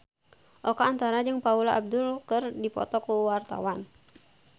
Oka Antara jeung Paula Abdul keur dipoto ku wartawan